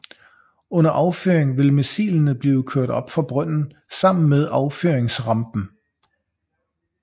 Under affyring vil missilene blive kørt op fra brønden sammen med affyringsrampen